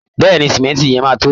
Bẹ́ẹ̀ ni, símẹ́ǹtì yẹn máa tó